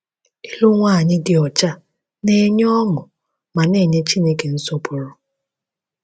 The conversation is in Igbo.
Ịlụ nwanyị dị ọcha na-enye ọṅụ ma na-enye Chineke nsọpụrụ